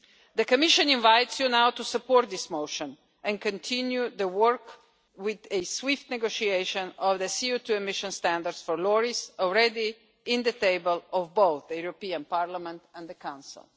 The Commission invites you to support this motion and continue the work with a swift negotiation of the CO2 emissions standards for lorries already on the table at both the European Parliament and the Council.